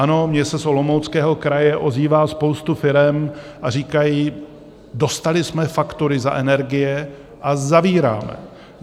Ano, mně se z Olomouckého kraje ozývá spousta firem a říkají, dostali jsme faktury za energie a zavíráme.